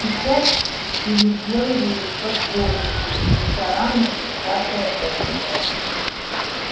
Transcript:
сейчас переделывают под офисы рестораны и всякое этакое